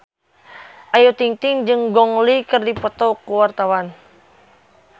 Ayu Ting-ting jeung Gong Li keur dipoto ku wartawan